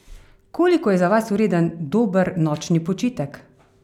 Koliko je za vas vreden dober nočni počitek?